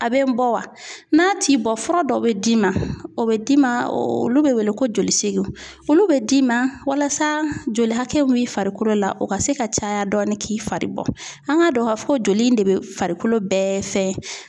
A bɛ n bɔ wa n'a t'i bɔ fura dɔ bɛ d'i ma o bɛ d'i ma olu bɛ wele ko joli segin olu bɛ d'i ma walasa joli hakɛ b'i farikolo la o ka se ka caya dɔɔnin k'i fari bɔ an ka dɔn k'a fɔ ko joli in de bɛ farikolo bɛɛ fɛ